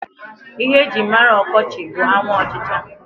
Ihe e jírí mara ọkọchị bụ anwụ ọchịcha.